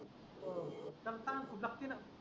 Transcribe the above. हो दत्तान ज्यास्तीन